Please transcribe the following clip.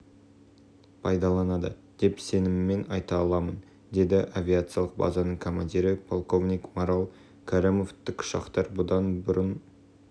пайдаланады деп сеніммен айта аламын деді авиациялық базаның командирі полковник марал кәрімов тікұшақтар бұдан бұрын